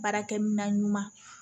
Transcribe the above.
Baarakɛ minan ɲuman